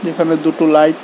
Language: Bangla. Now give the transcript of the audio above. এখানে দুটো লাইট ।